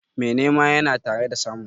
Mai nema yana tare da samu.